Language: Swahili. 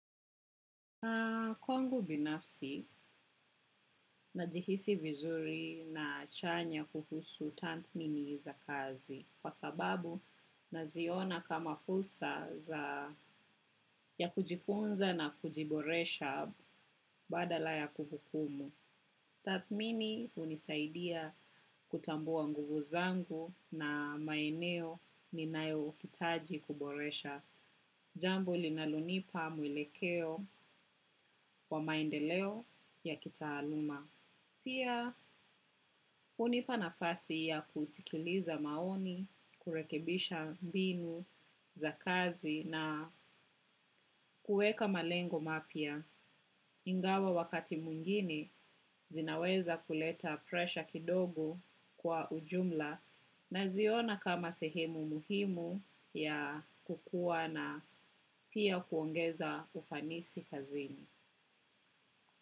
Kwangu binafsi, najihisi vizuri na chanya kuhusu tathmini za kazi. Kwa sababu, naziona kama fursa za ya kujifunza na kujiboresha badala ya kuhukumu. Tathmini hunisaidia kutambua nguvu zangu na maeneo ninayohitaji kuboresha. Jambo linalonipa mwelekeo wa maendeleo ya kitaaluma. Pia hunipa nafasi ya kusikiliza maoni, kurekebisha mbinu za kazi na kuweka malengo mapya ingawa wakati mwingine zinaweza kuleta presha kidogo kwa ujumla naziona kama sehemu muhimu ya kukua na pia kuongeza ufanisi kazini.